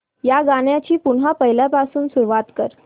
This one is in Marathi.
या गाण्या ची पुन्हा पहिल्यापासून सुरुवात कर